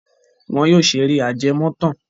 Wọn yóò ṣeré ajẹmọ́tàn.